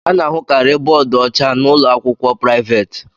Ana ahụkarị bóódú ọcha na ụlọakwụkwọ priavaate.